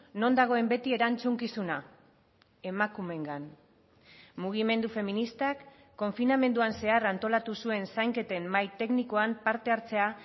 non dagoen beti erantzukizuna emakumeengan mugimendu feministak konfinamenduan zehar antolatu zuen zainketen mahai teknikoan partehartzea